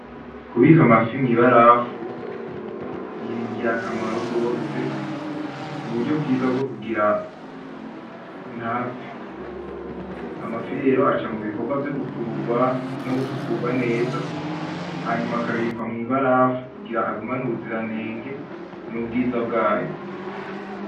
Kubika amafi mw'ibarafu ni ngirakamaro gose, n'uburyo bwiza bwo kugira ntapfe, amafi rero aca mu bikorwa vyo gukururwa no gusukurwa neza hanyuma akabikwa mw'ibarafu kugira agumane ubuziranenge n'ubwiza bwayo.